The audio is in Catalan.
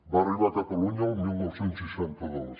va arribar a catalunya el dinou seixanta dos